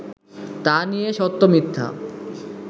তা নিয়ে সত্য-মিথ্যা